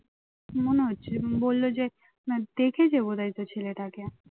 মনে হচ্ছে বলল যে দেখেছে বোধ হয় তো ছেলেটাকে